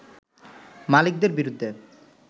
মালিকদের বিরুদ্ধে